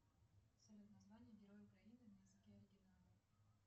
салют название героя украины на языке оригинала